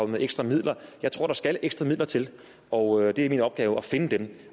med ekstra midler jeg tror der skal ekstra midler til og det er min opgave at finde dem